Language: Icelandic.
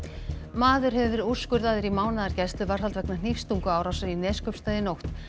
maður hefur verið úrskurðaður í mánaðar gæsluvarðhald vegna í Neskaupstað í nótt